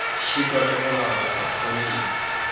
šitwa ke go laola potfolio